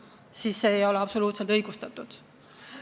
Nii et kärpimine ei ole absoluutselt õigustatud.